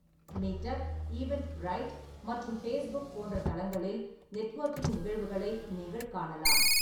Meetup, Eventbrite மற்றும் Facebook போன்பேஸ் ற தளங்களில் நெட்வொர்க்கிங் நிகழ்வுகளை நீங்கள் காணலாம்.